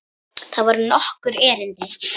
Þetta voru nokkur erindi.